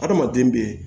Adamaden bɛ yen